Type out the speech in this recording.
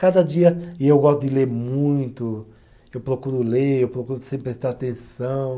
Cada dia, e eu gosto de ler muito, eu procuro ler, eu procuro sempre prestar atenção.